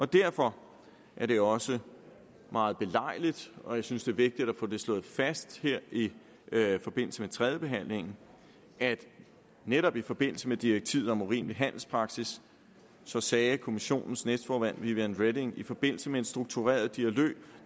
derfor er det også meget belejligt og jeg synes det er vigtigt at få slået det fast her i forbindelse med tredjebehandlingen at netop i forbindelse med direktivet om urimelig handelspraksis sagde kommissionens næstformand vivian reding i forbindelse med en struktureret